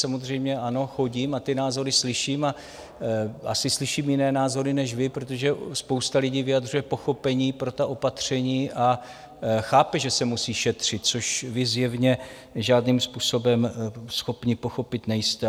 Samozřejmě ano, chodím, ty názory slyším a asi slyším jiné názory než vy, protože spousta lidí vyjadřuje pochopení pro ta opatření a chápe, že se musí šetřit, což vy zjevně žádným způsobem schopni pochopit nejste.